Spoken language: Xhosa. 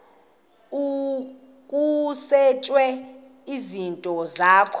kusetshwe izinto zakho